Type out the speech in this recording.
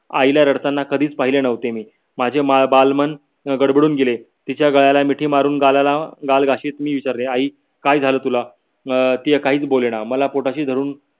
आईला रडतांना कधीच पहिले नव्हते मी. माझे बालमन गडबडून अं गेले. तिच्या गळ्याला मिठी मारून गालाला गाल घासत मी विचरले आई काय झाले तुला. अं ती काहीच बोले न. मला पोटाशी धरून